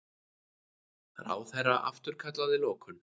Ráðherra afturkallaði lokun